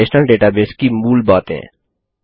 relational database की मूल बातें